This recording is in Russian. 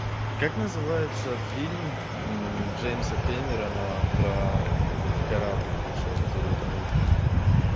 как называется фильм джеймса кэмерона про корабль большой который утонул